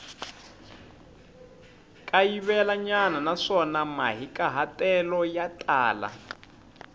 kayivelanyana naswona mahikahatelo ya tala